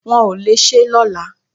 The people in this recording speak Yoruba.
Wọ́n ò le ṣé lọ́la